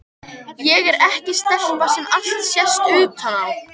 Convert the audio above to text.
Ég er ekki stelpa sem allt sést utan á.